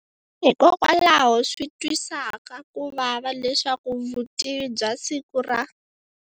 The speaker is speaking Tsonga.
Hikokwalaho swi twisaka kuvava leswaku vutivi bya siku ra.